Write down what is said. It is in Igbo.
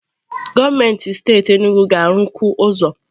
Gọọmenti steeti Enugwu ga-arụkwu ụzọ.